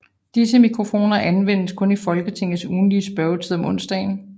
Disse mikrofoner anvendes kun i Folketingets ugentlige spørgetid om onsdagen